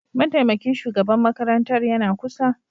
Mataimakin shugaban makarantar yana kusa